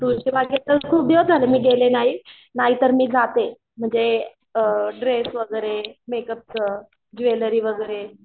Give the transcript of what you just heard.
तुळशी बागेत तर खूप दिवस झाले मी गेले नाही नाहीतर मी जाते म्हणजे अअ ड्रेस वगैरे, मेकअपच ज्वेलरी वगैरे